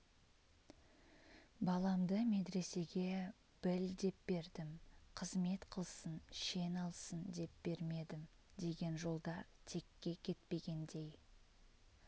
баламды медресеге біл деп бердім қызмет қылсын шен алсын деп бермедім деген жолдар текке кетпегендей